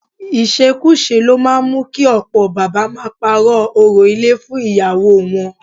Ìṣekúṣe ló máa ń mú kí ọ̀pọ̀ bàbá máa parọ́ orò ilé fún ìyàwó wọn